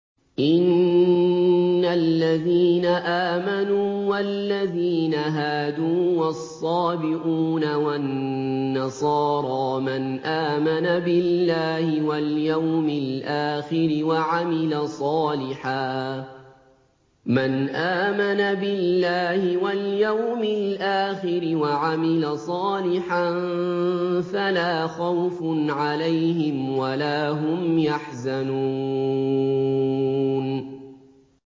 إِنَّ الَّذِينَ آمَنُوا وَالَّذِينَ هَادُوا وَالصَّابِئُونَ وَالنَّصَارَىٰ مَنْ آمَنَ بِاللَّهِ وَالْيَوْمِ الْآخِرِ وَعَمِلَ صَالِحًا فَلَا خَوْفٌ عَلَيْهِمْ وَلَا هُمْ يَحْزَنُونَ